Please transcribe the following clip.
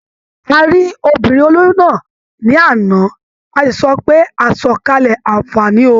A rí obìnrin olóyún náà ní àná, a sì sọ pé "àsọ̀kalẹ̀ àǹfààní o".